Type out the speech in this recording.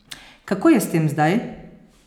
Kako je s tem zdaj?